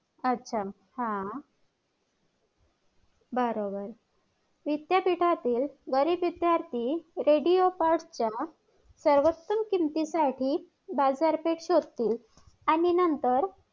आच्छा हा बरोबर विद्यापीठातील बरेच विध्यार्थी radio cost च्या सर्वोतम किमती साठी बाजार पेठ शोधतील आणि नंतर